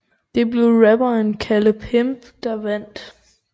Det blev rapperen Kalle Pimp der vandt